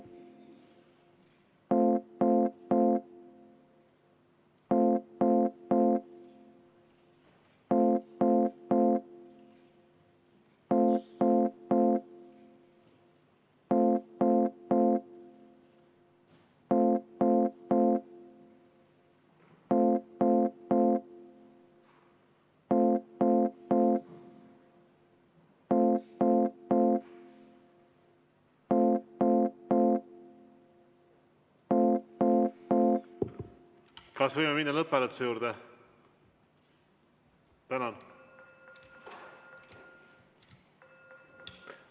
Kas võime minna lõpphääletuse juurde?